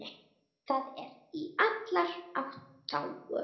Það er í allra þágu.